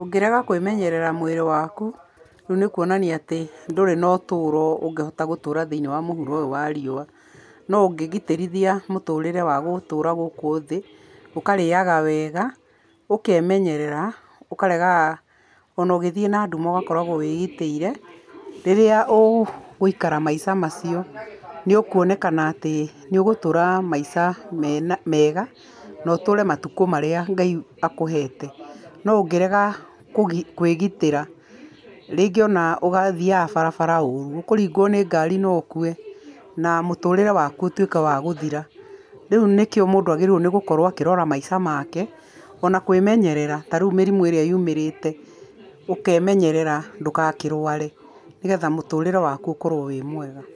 Ũngĩrega kwĩmenyerera mwĩrĩ waku, rĩu nĩ kũonania atĩ ndũrĩ na ũtũro ũngĩhota gũtũra thĩinĩ wa mũhuro ũyũ wa riũa. No ũngĩgitĩrithia mũtũrĩre wa gũtũra gũkũ thĩ, ũkarĩaga wega, ũkeemenyerera, ukaregaga , o na ũgĩthiĩ na nduma ũgakorwo wĩgitĩire. Rĩrĩa ũgũikara maica macio, nĩ ũkũonekana atĩ nĩ ũgũtũra maica mega na ũtũre matukũ marĩa Ngai akũhete. No ũngĩrega kwĩgitĩra, rĩngĩ o na ũgathiaga barabara ũrũ, ũkũringwo nĩ ngari na ũkue na mũtũrĩre waku ũtuĩke wa gũthira. Rĩu nĩkĩo mũndũ agĩrĩirwo nĩ gũkorwo akĩrora maica make, o na kwĩmenyerera. Ta rĩu mĩrimũ ĩrĩa yumĩrĩte, ũkeemenyerera ndũkakĩrware nĩgetha mũtũrĩre wakũ ũkorwo wĩ mwega.